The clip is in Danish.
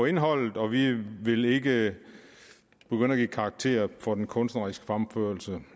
indholdet og vi vil ikke begynde at give karakterer for den kunstneriske fremførelse